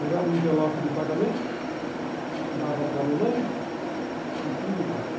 Pegava envelope de pagamento, dava para mamãe e fim de papo.